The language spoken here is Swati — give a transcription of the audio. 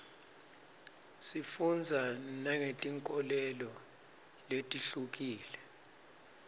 sifundza nangetinkholelo letihlukile